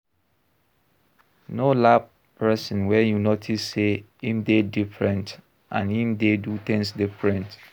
No laugh person when you notice sey im dey different and im dey do things different